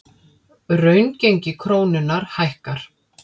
Raungengi krónunnar hækkar